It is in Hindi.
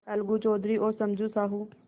अलगू चौधरी और समझू साहु